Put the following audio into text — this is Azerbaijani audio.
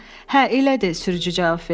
“Hə, elədir,” sürücü cavab verdi.